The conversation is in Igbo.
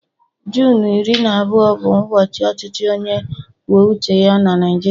Junu iri na abụọ bụ ụbọchị ọchịchị onye kwuo uche ya na Naịjirịa